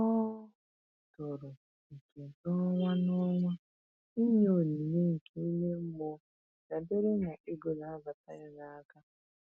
Ọ tụrụ oke n'ọnwa n'ọnwa ịnye onyinye nke ime mmụọ dabere na ego na-abata ya n'aka.